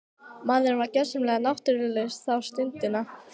Maðurinn var gjörsamlega náttúrulaus þá stundina.